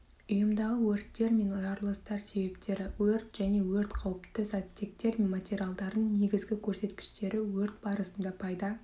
ұйымдағы өрттер мен жарылыстар себептері өрт және өрт қауіпті заттектер мен материалдардың негізгі көрсеткіштері өрт барысында пайда